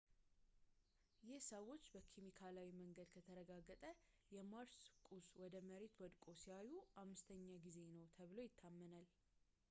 ይህ ሰዎች በኬሚካላዊ መንገድ የተረጋገጠ የማርስ ቁስ ወደ መሬት ወድቆ ሲያዩ ዐምስተኛ ጊዜ ነው ተብሎ ይታመናል